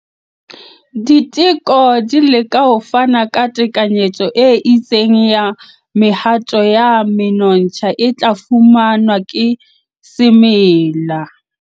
Diteko di leka ho fana ka tekanyetso e itseng ya mehato ya menontsha e tla fumanwa ke semela.